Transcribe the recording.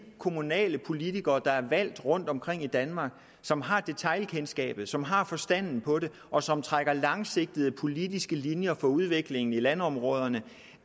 kommunalpolitikere der er valgt rundtomkring i danmark som har detailkendskabet som har forstand på det og som trækker langsigtede politiske linjer for udviklingen i landområderne